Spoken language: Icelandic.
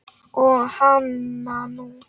Og hananú!